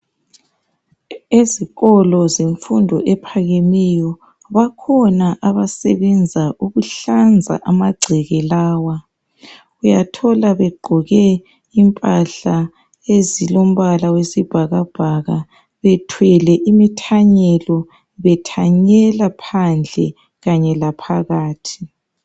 Ezikolo zemfundo ephakemeyo bakhona abasebenza ukuhlanza amagceke lawa. Uyathola begqoke impahla ezilomnala wesibhakabhaka bethwele imithanyelo bethanyela phandle kanye laphakathi.